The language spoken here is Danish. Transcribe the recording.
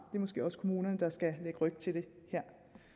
er måske også kommunerne der skal lægge ryg til det her